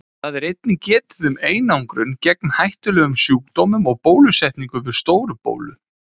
Þar er einnig getið um einangrun gegn hættulegum sjúkdómum og bólusetningu við Stóru-bólu.